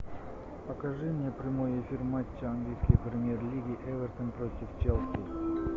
покажи мне прямой эфир матча английской премьер лиги эвертон против челси